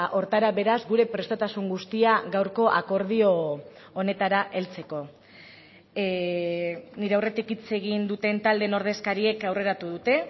horretara beraz gure prestutasun guztia gaurko akordio honetara heltzeko nire aurretik hitz egin duten taldeen ordezkariek aurreratu dute